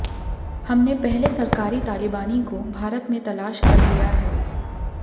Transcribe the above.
हमने पहले सरकारी तालिबानी को भारत में तलाश कर लिया है